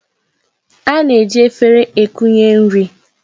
A na-eji efere ekunye nri.